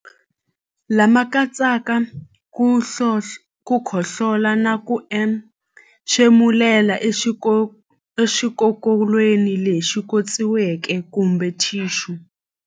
Lama katsaka ku khohlola na ku entshemulela exikokolweni lexi khotsiweke kumbe thixu.